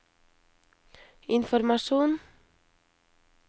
informasjon